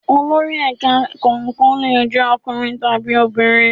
Olori ẹ̀ka kọ̀ọ̀kan lè jẹ́ ọkùnrin tàbí obìnrin.